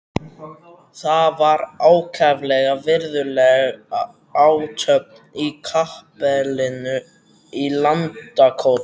Það var ákaflega virðuleg athöfn í kapellunni í Landakoti.